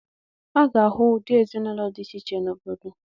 A ga-ahụ ụdị ezinaụlọ dị iche iche n'obodo.